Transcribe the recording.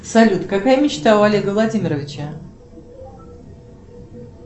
салют какая мечта у олега владимировича